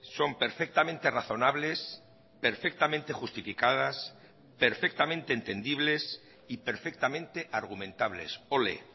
son perfectamente razonables perfectamente justificadas perfectamente entendibles y perfectamente argumentables ole